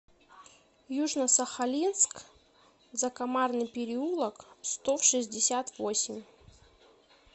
южно сахалинск закомарный переулок сто в шестьдесят восемь